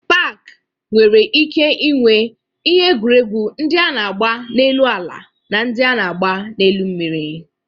Pak nwere ike inwe ihe egwuregwu ndị a na-agba n'elu ala na ndị a na-agba n'elu mmiri.